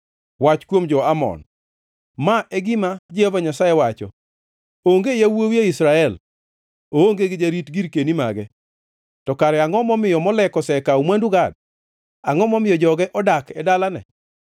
Wach kuom jo-Amon: Ma e gima Jehova Nyasaye wacho: “Onge yawuowi e Israel? Oonge gi jarit girkeni mage? To kare angʼo momiyo Molek osekawo mwandu Gad? Angʼo momiyo joge odak e dalane?”